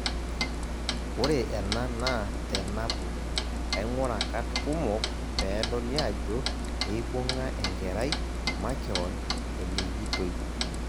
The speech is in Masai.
Ore ena naa tenabo, aing'urra kat kumok peedoli ajo eibung'a enkerai makeon enejitoi.